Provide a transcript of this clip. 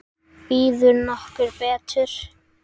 Býður nokkur betur?